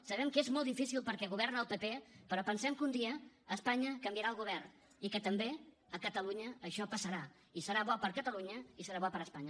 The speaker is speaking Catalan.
sabem que és molt difícil perquè governa el pp però pensem que un dia a espanya canviarà el govern i que també a catalunya això passarà i serà bo per a catalunya i serà bo per a espanya